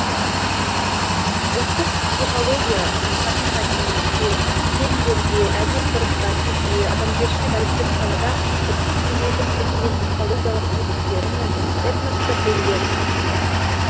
ұлттық психология рухани мәдениетте сезімдерде әдет ғұрыпта тілде адамгершілік әдептік салада ұлттық мінездің көптеген психологиялық көріністері мен этностық белгілерін қамтиды